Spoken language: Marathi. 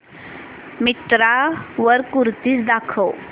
मिंत्रा वर कुर्तीझ दाखव